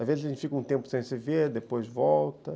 Às vezes a gente fica um tempo sem se ver, depois volta.